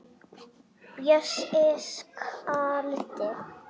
Bjössi kaldi.